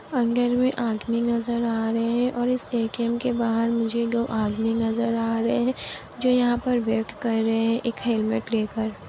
अंदर मे आदमी नजर आ रहे है और इस एटीएम के बाहर मुझे दो आदमी नजर आ रहे है जो यहाँ पर वेट कर रहे है एक हेलमेट लेकर।